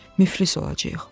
Müflis olacağıq.